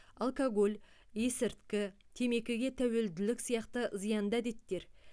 алкоголь есірткі темекіге тәуелділік сияқты зиянды әдеттер